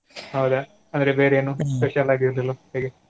ಹೌದಾ, ಅಂದ್ರೆ ಬೇರೆ ಎನು special ಆಗಿ ಇರ್ಲಿಲ್ವಾ ಹೇಗೆ .